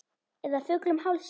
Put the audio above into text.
Eða fullum hálsi?